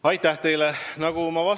Aitäh teile!